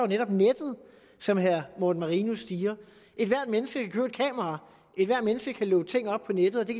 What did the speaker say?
netop nettet som herre morten marinus siger ethvert menneske kan købe et kamera ethvert menneske kan loade ting op på nettet og det